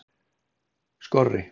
Skorri